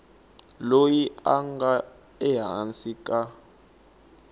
loyi a nga ehansi ka